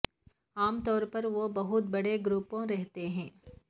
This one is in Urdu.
عام طور پر وہ بہت بڑے گروپوں رہتے ہیں